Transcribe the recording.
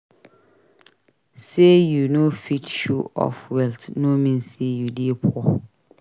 Sey you no fit show off wealth no mean sey you dey poor.